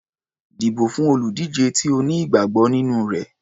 Dìbò fún olùdíje tí o ní ìgbàgbọ́ nínú rẹ̀.